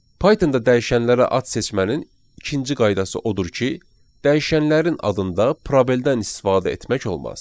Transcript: Pythonda dəyişənlərə ad seçmənin ikinci qaydası odur ki, dəyişənlərin adında probeldən istifadə etmək olmaz.